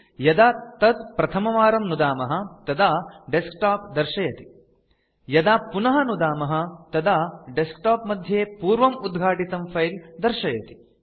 यदा तत् प्रथमवारं नुदामः तदा डेस्कटॉप दर्शयति यदा पुनः नुदामः तदा डेस्कटॉप मध्ये पूर्वम् उद्घाटितं फाइल्स् दर्शयति